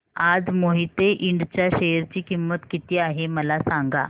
आज मोहिते इंड च्या शेअर ची किंमत किती आहे मला सांगा